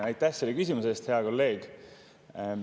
Aitäh selle küsimuse eest, hea kolleeg!